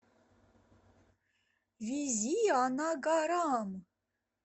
визианагарам